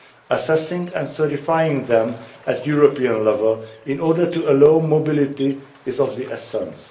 Assessing and certifying them at European level in order to allow mobility is of the essence.